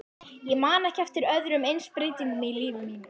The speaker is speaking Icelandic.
Ég man ekki eftir öðrum eins breytingum í lífi mínu.